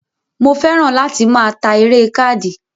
Mo fẹ́ràn láti máa ta eré káàdì